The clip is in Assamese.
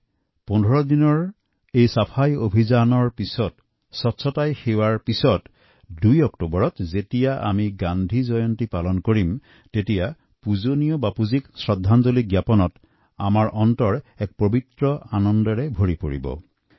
এই পোন্ধৰ দিনত চাফাই অভিযানৰ পাছত স্বচ্ছতাই সেৱা এই মন্ত্ৰ পালনৰ পাছত ২ অক্টোবৰ যেতিয়া আমি গান্ধী জয়ন্তী পালন কৰিম আৰু পূজনীয় বাপুৰ প্ৰতি শ্ৰদ্ধাঞ্জলি জনাম তেতিয়া আমাৰ মন এক নিৰ্মল আনন্দৰে পৰিপূৰ্ণ হৈ উঠিব